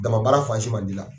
Dama baara fan si man d'i la.